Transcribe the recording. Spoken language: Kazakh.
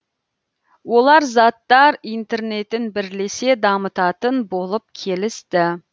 олар заттар интернетін бірлесе дамытатын болып келісті